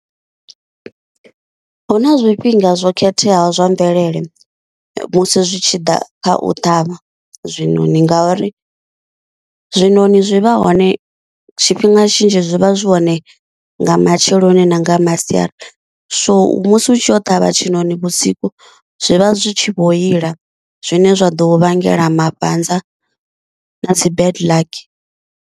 Hu na zwifhinga zwo khetheaho zwa mvelele musi zwi tshi ḓa kha u ṱhavha zwinoni ngauri, zwinoni zwi vha hone tshifhinga tshinzhi zwi vha zwi zwone nga matsheloni na nga masiari, so musi u tshi yo ṱhavha tshiṋoni vhusiku zwivha zwi tshi vho ila zwine zwa ḓo u vhangela mafhanza na dzi bad luck.